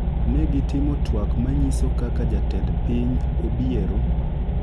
ne gitimo twak ma nyiso kaka jatend piny Obiero